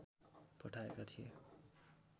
पठाएका थिए